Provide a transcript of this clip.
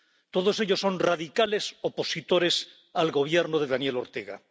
Todos ellos son radicales opositores al Gobierno de Daniel Ortega.